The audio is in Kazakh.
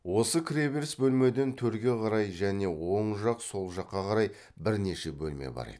осы кіреберіс бөлмеден төрге қарай және оң жақ сол жаққа қарай бірнеше бөлме бар еді